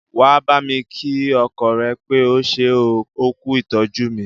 Wà á bámi kí ọkọ rẹ pé ó ṣé oo, ó kú ìtọ́jú mí!